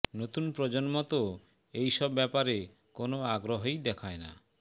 নতুন প্রজন্ম তো এই সব ব্যাপারে কোনও আগ্রহই দেখায় না